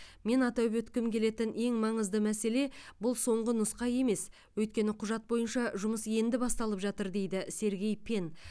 мен атап өткім келетін ең маңызды мәселе бұл соңғы нұсқа емес өйткені құжат бойынша жұмыс енді басталып жатыр дейді сергей пен